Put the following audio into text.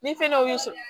Ni fɛn dɔw y'u sɔrɔ